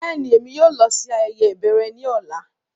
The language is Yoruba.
Bẹ́ẹ̀ni, Émi yóò lọ si ibi ayẹyẹ ibẹrẹ ni ọla.